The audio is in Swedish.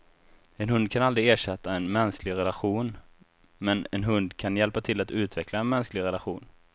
En hund kan aldrig ersätta en mänsklig relation, men en hund kan hjälpa till att utveckla en mänsklig relation.